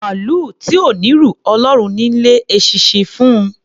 Màlúù tí ò n'írù, Ọlọ́run ni í lé eṣinṣin fún un.